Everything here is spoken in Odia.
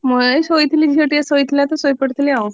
ମୁଁ ଏଇ ଶୋଇଥିଲି, ଝିଅ ଟିକେ ଶୋଇଥିଲା ତ ଶୋଇ ପଡିଥିଲି ଆଉ।